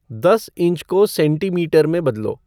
दस इंच को सेंटीमीटर में बदलो